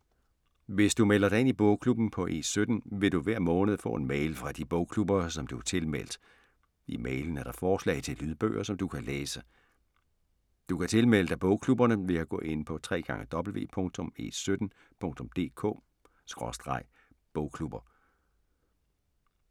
Hvis du melder dig ind i bogklubberne på E17, vil du hver måned få en mail fra de bogklubber, som du er tilmeldt. I mailen er der forslag til lydbøger, som du kan læse. Du kan tilmelde dig bogklubberne ved at gå ind på www.e17.dk/bogklubber